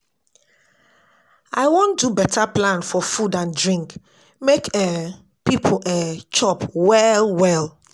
I wan do beta plan for food and drink make um pipo um chop well-well.